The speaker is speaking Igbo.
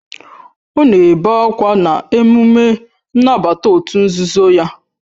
Ọ na-ebe akwa na emume nnabata òtù nzuzo ya